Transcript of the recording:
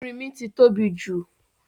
Erínmí ti tóbi jù